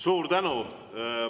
Suur tänu!